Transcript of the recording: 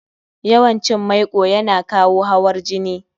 yawan cin maiko yana kawo hawar jini